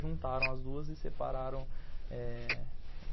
Juntaram as duas e separaram eh